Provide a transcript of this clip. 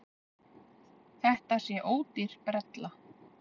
Þetta sé ódýr brella.